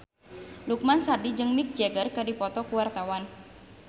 Lukman Sardi jeung Mick Jagger keur dipoto ku wartawan